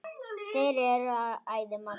Þeir eru æði margir.